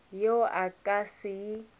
yeo a ka se e